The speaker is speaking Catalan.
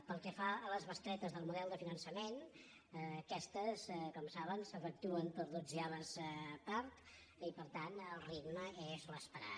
pel que fa a les bestretes del model de finançament aquestes com saben s’efectuen per dotzenes parts i per tant el ritme és l’esperat